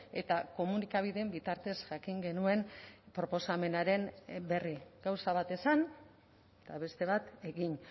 eta komunikabideen bitartez jakin genuen proposamenaren berri gauza bat esan eta beste bat egin